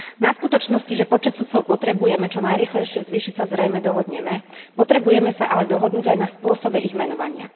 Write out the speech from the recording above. Na skutočnosti, že počet sudcov potrebujeme čo najrýchlejšie zvýšiť, sa zrejme dohodneme, potrebujeme sa ale dohodnúť aj na spôsobe ich menovania.